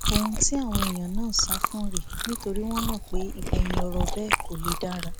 ohun tí àwọn èèyàn náà ń sá fún rèé nítorí wọn mọ pé ìgbẹyìn ọrọ bẹẹ kò lè dára